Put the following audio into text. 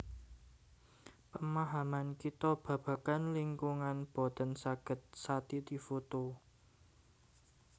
Pamahaman kita babagan lingkungan boten saged satiti foto